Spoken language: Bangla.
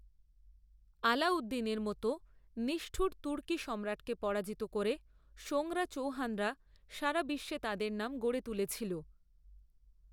আলাউদ্দিনের মতো নিষ্ঠুর তুর্কি সম্রাটকে পরাজিত করে সোঙরা চৌহানরা সারা বিশ্বে তাদের নাম গড়ে তুলেছিল।